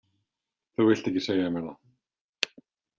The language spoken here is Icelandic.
Þú vilt ekki segja mér það.